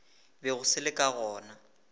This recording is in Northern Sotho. bego se le ka gona